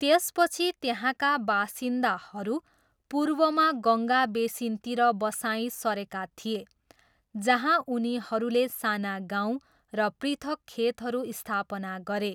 त्यसपछि त्यहाँका बासिन्दाहरू पूर्वमा गङ्गा बेसिनतिर बसाइँ सरेका थिए, जहाँ उनीहरूले साना गाउँ र पृथक खेतहरू स्थापना गरे।